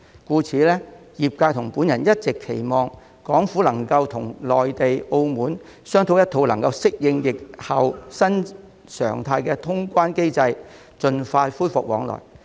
因此，業界與我一直期望港府能與內地及澳門商討一套能夠適應疫後新常態的通關機制，盡快恢復往來。